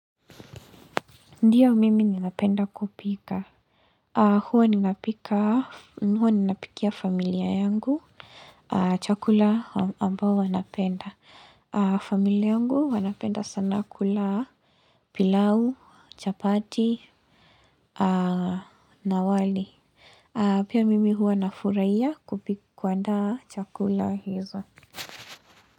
Ndiyo mimi ninapenda kupika. Huwa ninapikia familia yangu. Chakula ambao wanapenda. Familia yangu wanapenda sana kula pilau, chapati, na wali. Pia mimi hua nafuraia kupika kuandaa chakula hizo.